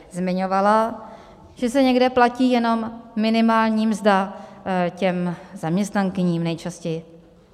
Zmiňovala, že se někde platí jenom minimální mzda těm zaměstnankyním, nejčastěji.